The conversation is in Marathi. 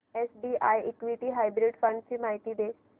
एसबीआय इक्विटी हायब्रिड फंड ची माहिती दे